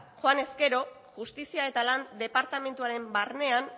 joanez gero justizia eta lan departamentuaren barnean